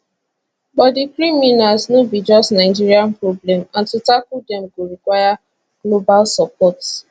but di criminals no be just nigeria problem and to tackle dem go require global support